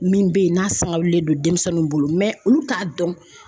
Min bɛ yen n'a sanga wulilen don denmisɛnninw bolo olu t'a dɔn.